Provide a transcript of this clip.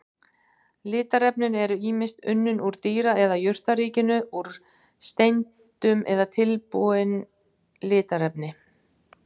Litarefnin eru ýmist unnin úr dýra- eða jurtaríkinu, úr steindum eða tilbúin litarefni.